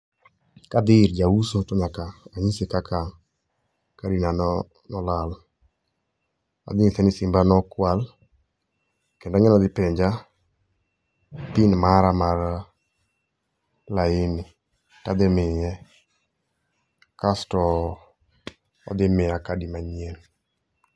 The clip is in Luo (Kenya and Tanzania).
Kadhi ir jauso to nyaka anyise kaka kadi na nolal. Adhi nyise ni simba nokwal, kendo ang'e ni odhi penja pin mara mar laini tadhimiye. Kasto odhi miya kadi manyien.